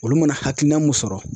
Olu mana hakilina mun sɔrɔ.